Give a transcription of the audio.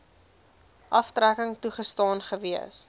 aftrekking toegestaan gewees